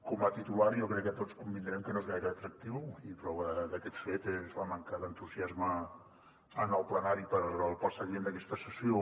com a titular jo crec que tots devem convenir que no és gaire atractiu i prova d’aquest fet és la manca d’entusiasme en el ple per al seguiment d’aquesta sessió